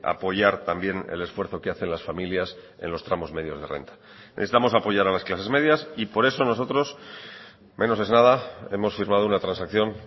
apoyar también el esfuerzo que hacen las familias en los tramos medios de renta necesitamos apoyar a las clases medias y por eso nosotros menos es nada hemos firmado una transacción